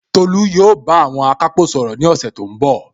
Tolu yóò bá àwọn akápò sọ̀rọ̀ ní ọ̀sẹ̀ tó ń bọ̀